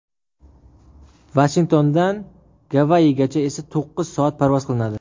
Vashingtondan Gavayigacha esa to‘qqiz soat parvoz qilinadi.